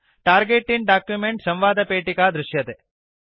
target in document संवादपेटिका दृश्यते